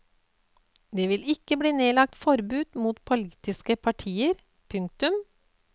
Det vil ikke bli nedlagt forbud mot politiske partier. punktum